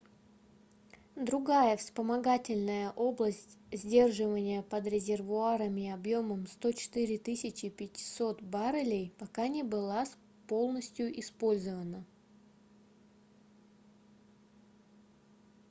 другая вспомогательная область сдерживания под резервуарами объемом 104 500 баррелей пока не была полностью использована